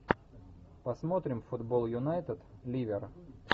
посмотрим футбол юнайтед ливер